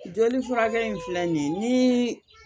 Joli furakɛ in filɛ nin ye ni